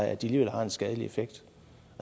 at de alligevel har en skadelig effekt